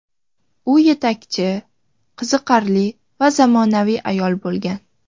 U yetakchi, qiziqarli va zamonaviy ayol bo‘lgan.